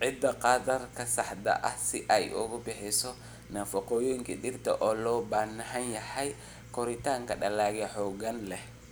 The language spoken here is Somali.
ciidda qaddarka saxda ah si ay u bixiso nafaqooyinka dhirta ee loo baahan yahay koritaanka dalagga xoogga leh.